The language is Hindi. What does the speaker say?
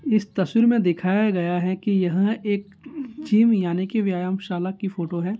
इस तस्वीर में दिखाया गया है की यह एक जिम यानि की व्यायामशाला की फोटो है।